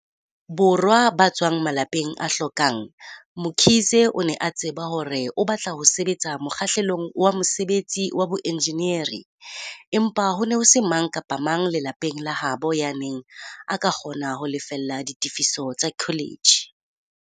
Borwa ba tswang malapeng a hlokang, Mkhize o ne a tseba hore o batla ho sebetsa mokgahlelong wa mosebetsi wa boenjenieri, empa ho ne ho se mang kapa mang lelapeng la habo yaneng a ka kgona ho lefella ditefiso tsa kholetjhe.